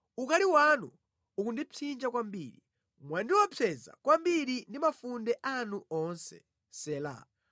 Ukali wanu ukundipsinja kwambiri, mwandiopseza kwambiri ndi mafunde anu onse. Sela